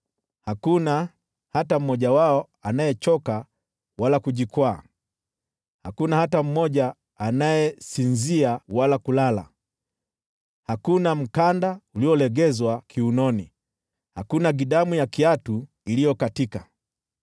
Hakuna hata mmoja wao anayechoka wala kujikwaa, hakuna hata mmoja anayesinzia wala kulala, hakuna mkanda uliolegezwa kiunoni, hakuna gidamu ya kiatu iliyokatika.